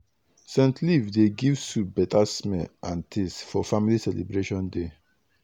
scent leaf dey give soup beta smell and taste for family celebration day.